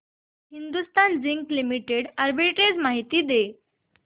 Hindustan zinc limited arbitrage माहिती दे